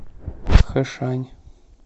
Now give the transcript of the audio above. хэшань